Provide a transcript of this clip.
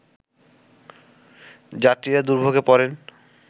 যাত্রীরা দুর্ভোগে পড়েন